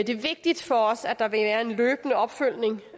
det er vigtigt for os at der vil være løbende opfølgning